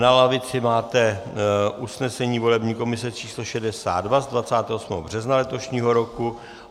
Na lavici máte usnesení volební komise č. 62 z 28. března letošního roku.